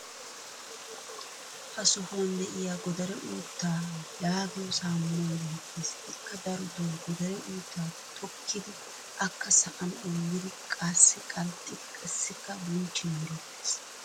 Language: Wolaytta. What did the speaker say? ha sohuwan diya goddare uuttaa yaagiyo saamunay beetees. ikka darotoo goddare uuttaa tokkidi akka sa"an onggidi qassi qanxxidi qassikka bunchchin merettees.